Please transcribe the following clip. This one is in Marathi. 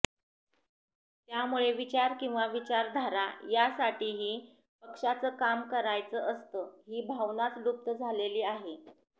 त्यामुळे विचार किंवा विचारधारा यासाठी ही पक्षाचं काम करायचं असतं ही भावनाच लुप्त झालेली आहे